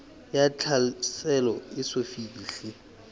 ya tlhaselo e eso fihle